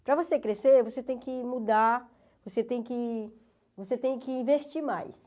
Para você crescer, você tem que mudar, você tem que você tem que investir mais.